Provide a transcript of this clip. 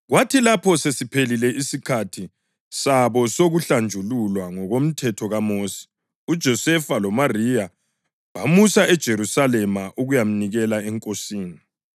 Kwathi lapho sesiphelile isikhathi sabo sokuhlanjululwa ngokomthetho kaMosi, uJosefa loMariya bamusa eJerusalema ukuyamnikela eNkosini